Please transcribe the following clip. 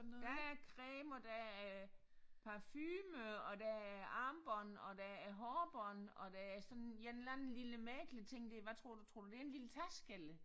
Der er creme og der er parfume og der er armbånd og der er hårbånd og der er sådan en eller anden lille *** hvad tror du tror du det er en lille taske